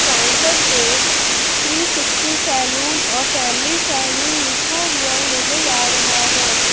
Counter पे three sixty saloon a family saloon लिखा हुआ नजर आ रहा है।